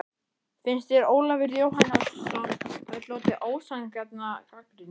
Finnst þér Ólafur Jóhannesson hafa hlotið ósanngjarna gagnrýni?